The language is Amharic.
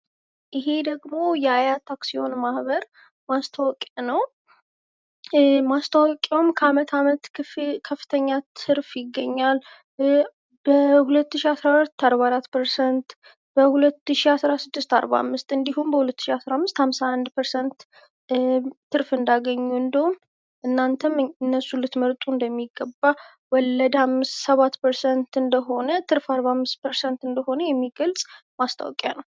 እሄ ደግሞ የአያት አክሲዮን ማህበር ማስታወቂያ ነው። ማስታወቂያውም ከአመት አመት ከፍተኛ ትርፍ ይገኛል በ 201 44%። በ 2016 45% እንዲሁም በ2015 51%ትርፍ እንዳገኙ እናንተም እነሱ ልትመርጡ እንደሚገባ ወለድ 7% እንደሆነ ትርፍ 45% እንደሆነ የሚገልጽ ማስታወቂያ ነው።